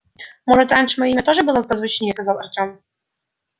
может раньше моё имя тоже было позвучнее сказал артём